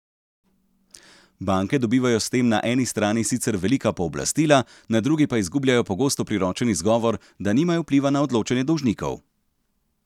Banke dobivajo s tem na eni strani sicer velika pooblastila, na drugi pa izgubljajo pogosto priročen izgovor, da nimajo vpliva na odločanje dolžnikov.